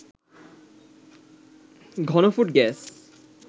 ঘনফুট gas